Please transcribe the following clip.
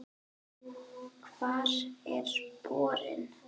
Hvar er borinn?